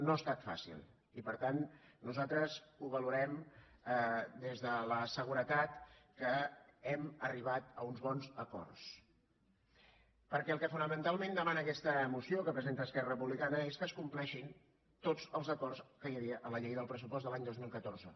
no ha estat fàcil i per tant nosaltres ho valorem des de la seguretat que hem arribat a uns bons acords perquè el que fonamentalment demana aquesta moció que presenta esquerra republicana és que es compleixin tots els acords que hi havia en la llei del pressupost de l’any dos mil catorze